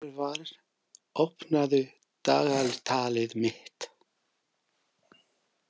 Hervar, opnaðu dagatalið mitt.